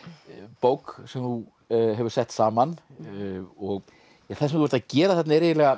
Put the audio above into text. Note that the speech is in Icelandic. bók sem þú hefur sett saman og það sem þú ert að gera þarna er